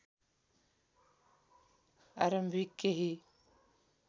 आरम्भिक केही